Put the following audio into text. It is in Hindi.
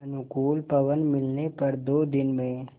अनुकूल पवन मिलने पर दो दिन में